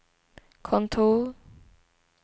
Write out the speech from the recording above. kontor